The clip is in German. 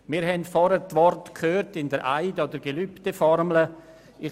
Wir haben vorhin in der Eides- und Gelübdeformel gehört: